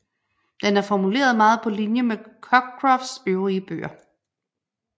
Den er formuleret meget på linje med Cockcrofts øvrige bøger